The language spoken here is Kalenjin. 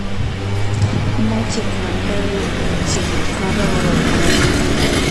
Machei kandoik che kororon koroni